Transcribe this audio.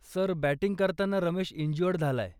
Sir, batting करताना Ramesh injured झालाय.